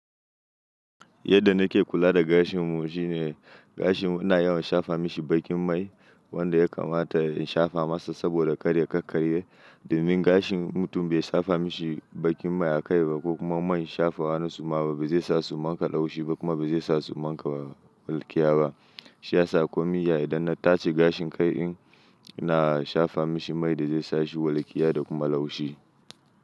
Yadda nake kula da gashin mu shine gashi muna yawan shafa mashi baƙin mai wanda ya kamata in shafa masa saboda karya kar karya. Domin gashin mutum bai shafa mashi baƙin mai a kai ba ko kuma man shafawa na suma ba, bai sa su manta laushi ba kuma bai sa su manta walƙiya ba. Shi ya sa kumi yaya idan na taje gashin kai in na shafa mashi mai da zai sa shi walƙiya da kuma laushi.